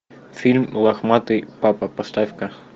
фильм лохматый папа поставь ка